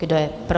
Kdo je pro?